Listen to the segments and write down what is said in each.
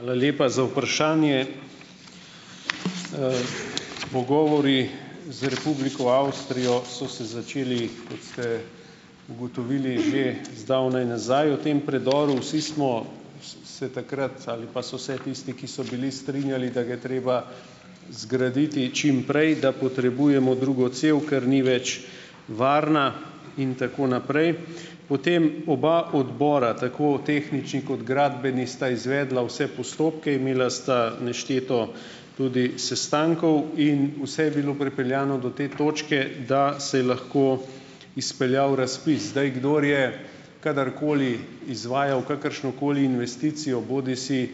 Hvala lepa za vprašanje! Pogovori z Republiko Avstrijo so se začeli, kot ste ugotovili, že zdavnaj nazaj, o tem predoru. Vsi smo s se takrat ali pa so se tisti, ki so bili, strinjali, da ga je treba zgraditi čim prej, da potrebujemo drugo cev, ker ni več varna in tako naprej. Potem, oba odbora, tako tehnični kot gradbeni, sta izvedla vse postopke, imela sta nešteto tudi sestankov in vse je bilo pripeljano do te točke, da se je lahko izpeljal razpis. Zdaj, kdor je kadarkoli izvajal kakršnokoli investicijo, bodisi,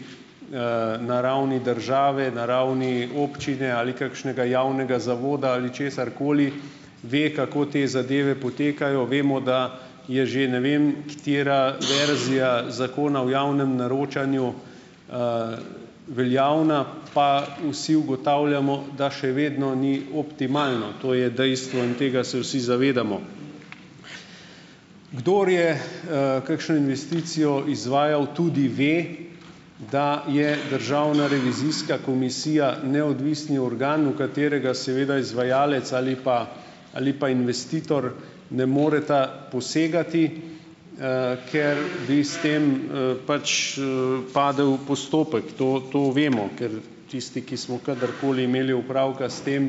na ravni države, na ravni občine ali kakšnega javnega zavoda ali česarkoli, ve, kako te zadeve potekajo, vemo, da je že ne vem katera verzija Zakona o javnem naročanju, veljavna, pa vsi ugotavljamo, da še vedno ni optimalno. To je dejstvo in tega se vsi zavedamo. Kdor je, kakšno investicijo izvajal, tudi ve, da je državna revizijska komisija neodvisni organ, v katerega seveda izvajalec ali pa ali pa investitor, ne moreta posegati, ker bi s tem, pač, padel postopek. To, to vemo, ker tisti, ki smo kadarkoli imeli opravka s tem,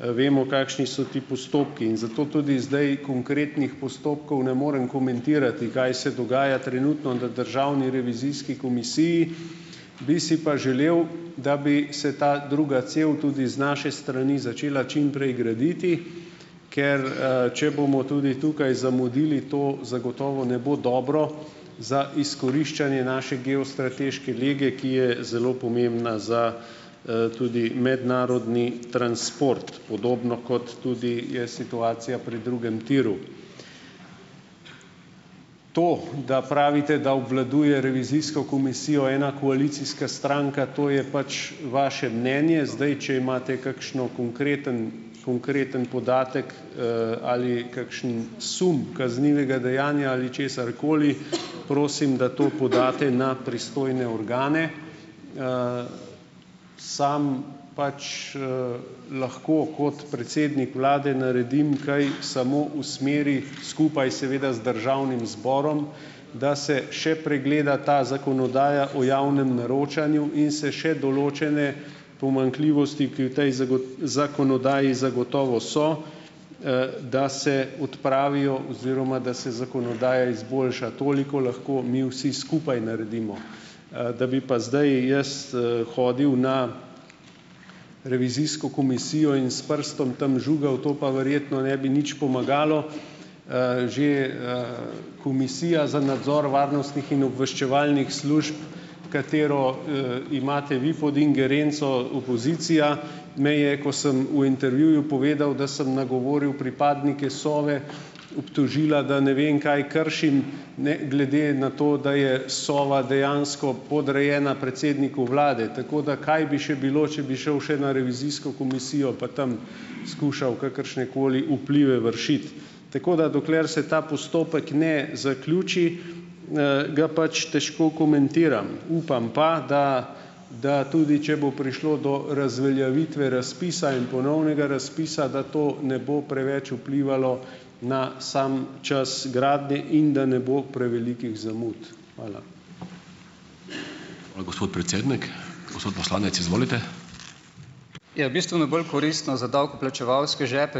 vemo, kakšni so ti postopki, in zato tudi zdaj konkretnih postopkov ne morem komentirati, kaj se dogaja, trenutno, na državni revizijski komisiji, bi si pa želel, da bi se ta druga cev tudi iz naše strani začela čim prej graditi, ker, če bomo tudi tukaj zamudili, to zagotovo ne bo dobro za izkoriščanje naše geostrateške lege, ki je zelo pomembna za, tudi mednarodni transport, podobno, kot tudi je situacija pri drugem tiru. To, da pravite, da obvladuje revizijsko komisijo ena koalicijska stranka, to je pač vaše mnenje, zdaj, če imate kakšen konkreten konkreten podatek, ali kakšen sum kaznivega dejanja ali česarkoli, prosim, da to podate na pristojne organe. Samo pač, lahko kot predsednik vlade naredim kaj samo v smeri skupaj seveda z državnim zborom, da se še pregleda ta zakonodaja o javnem naročanju in se še določene pomanjkljivosti, ki v tej zakonodaji zagotovo so, da se odpravijo oziroma da se zakonodaja izboljša. Toliko lahko mi vsi skupaj naredimo, da bi pa zdaj jaz, hodil na revizijsko komisijo in s prstom tam žugal, to pa verjetno ne bi nič pomagalo. Že, Komisija za nadzor varnostnih in obveščevalnih služb, katero, imate vi pod ingerenco, opozicija me je, ko sem v intervjuju povedal, da sem nagovoril pripadnike Sove, obtožila, da ne vem kaj kršim, ne, glede na to, da je Sova dejansko podrejena predsedniku Vlade, tako da kaj bi še bilo, če bi šel še na revizijsko komisijo pa tam skušal kakršnekoli vplive vršiti. Tako da dokler se ta postopek na zaključi, ga pač težko komentiram. Upam pa, da da tudi če bo prišlo do razveljavitve razpisa in ponovnega razpisa, da to ne bo preveč vplivalo na sam čas gradnje in da ne bo prevelikih zamud. Hvala.